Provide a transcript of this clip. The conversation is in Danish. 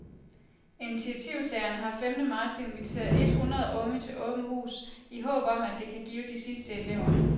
Initiativtagerne har femte marts inviteret et hundrede unge til åbent hus, i håb om at det kan give de sidste elever.